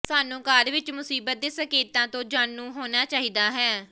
ਸਾਨੂੰ ਘਰ ਵਿਚ ਮੁਸੀਬਤ ਦੇ ਸੰਕੇਤਾਂ ਤੋਂ ਜਾਣੂ ਹੋਣਾ ਚਾਹੀਦਾ ਹੈ